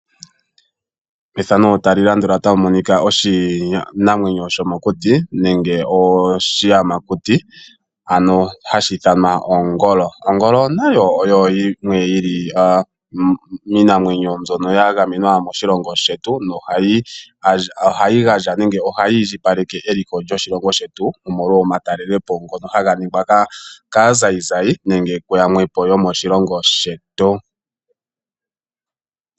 Ongolo oyo yimwe yili yomiinamwenyo mbyono yagamenwa moshilongo shetu nohayi gandja nenge ohayi indjipaleke eliko lyoshilongo shetu , omolwa omatelelepo ngono haga ningwa kaazayizayi nenge kuyamwe yomoshilongo shetu.